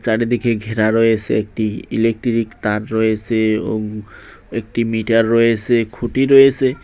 চারিদিকে ঘেরা রয়েসে একটি ইলেকটিরিক তার রয়েসে ও উম একটি মিটার রয়েসে খুটি রয়েসে।